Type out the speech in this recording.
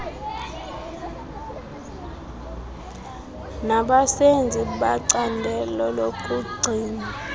nabasenzi becandelo lokugcinwa